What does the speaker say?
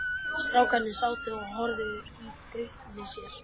Strákarnir sátu og horfðu í gaupnir sér.